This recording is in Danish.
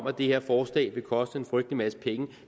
at det her forslag vil koste en frygtelig masse penge